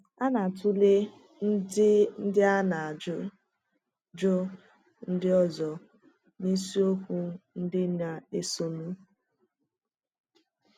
A ga-atụle ndị à na ajụjụ ndị ọzọ n’isiokwu ndị na-esonụ.